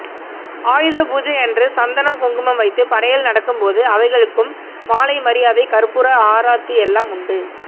ஆயுத பூஜை அன்று சந்தனம் குங்குமம் வைத்து படையல் நடக்கும்போது அவைகட்கும் மாலை மரியாதை கற்பூர ஆரத்தி எல்லாம் உண்டு